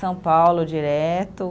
São Paulo, direto.